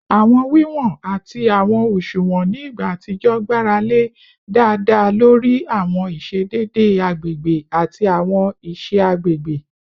Awọn wiwọn ati awọn òṣuwọn ni igba atijọ gbarale daada lori awọn iṣedede agbegbe ati awọn iṣe agbegbe